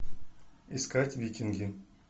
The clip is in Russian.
искать викинги